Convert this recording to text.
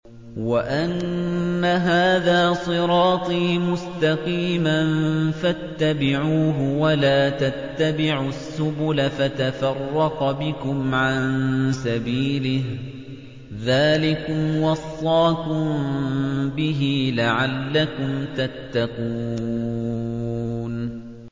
وَأَنَّ هَٰذَا صِرَاطِي مُسْتَقِيمًا فَاتَّبِعُوهُ ۖ وَلَا تَتَّبِعُوا السُّبُلَ فَتَفَرَّقَ بِكُمْ عَن سَبِيلِهِ ۚ ذَٰلِكُمْ وَصَّاكُم بِهِ لَعَلَّكُمْ تَتَّقُونَ